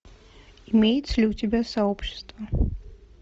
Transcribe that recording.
имеется ли у тебя сообщество